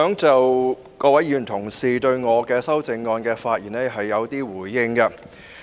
就各位議員同事對我的修正案的發言，我想作一些回應。